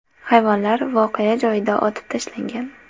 Hayvonlar voqea joyida otib tashlangan.